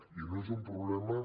i no és un problema